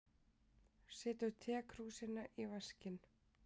Setur tekrúsina í vaskinn.